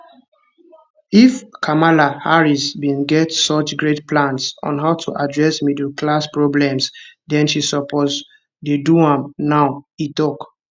if kamala harris bin get such great plans on how to address middle class problems then she suppose dey do dem now e tok